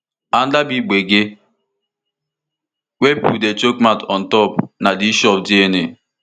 anoda big gbege wey pipo dey chook mouth ontop na di issue of dna